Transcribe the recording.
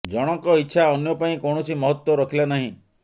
ଜଣଙ୍କ ଇଚ୍ଛା ଅନ୍ୟ ପାଇଁ କୌଣସି ମହତ୍ୱ ରଖିଲା ନାହିଁ